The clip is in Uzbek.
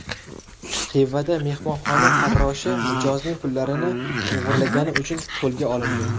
Xivada mehmonxona farroshi mijozning pullarini o‘g‘irlagani uchun qo‘lga olindi.